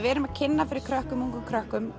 erum að kynna fyrir krökkum ungum krökkum